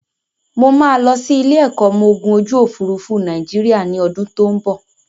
Mo máa lọ sí ilé-ẹ̀kọ́ ọmọgun ojúòfurufú Nàìjíríà ní ọdún tó n bọ̀.